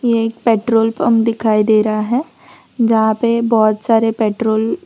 ये एक petrol pump दिखाई दे रहा है जहां पे बहोत सारे पेट्रोल --